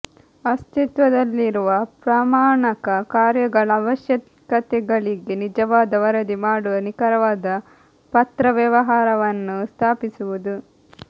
ಅಸ್ತಿತ್ವದಲ್ಲಿರುವ ಪ್ರಮಾಣಕ ಕಾರ್ಯಗಳ ಅವಶ್ಯಕತೆಗಳಿಗೆ ನಿಜವಾದ ವರದಿ ಮಾಡುವ ನಿಖರವಾದ ಪತ್ರವ್ಯವಹಾರವನ್ನು ಸ್ಥಾಪಿಸುವುದು